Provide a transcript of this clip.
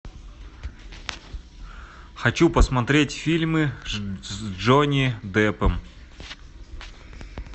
хочу посмотреть фильмы с джонни деппом